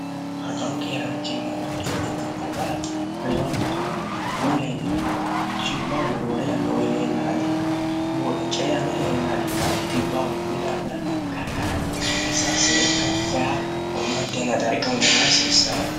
arqaru keeraanchimma gara co'inata gara reyona gargao mulee diranno cibbaahono roore yanno weleellaadikkani cami lelladikk dhibbwono bidaafira karqaraanci iis seefy hu'mantenn darga hulenna hasiissaya